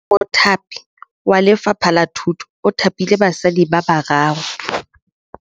Mothapi wa Lefapha la Thutô o thapile basadi ba ba raro.